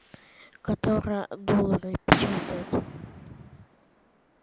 которая доллары печатает